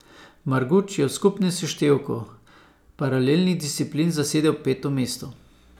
Marguč je v skupnem seštevku paralelnih disciplin zasedel peto mesto.